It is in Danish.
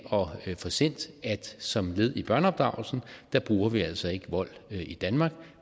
at få sendt at som led i børneopdragelsen bruger vi altså ikke vold i danmark